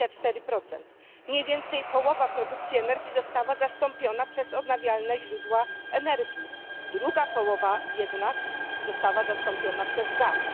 24. Mniej więcej połowa produkcji energii została zastąpiona przez odnawialne źródła energii, druga połowa jednak została zastąpiona przez gaz.